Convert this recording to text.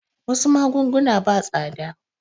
Wasu magunguna ba tsada